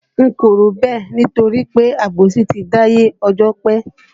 N kò rò bẹ́ẹ̀ nítorí pé àbòsí ti dáyé ọjọ́ pé